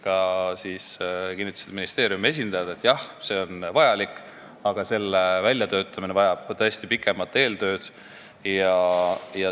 Ka ministeeriumi esindajad kinnitasid, et see on vajalik, aga selle fondi väljatöötamine vajab pikemat eeltööd.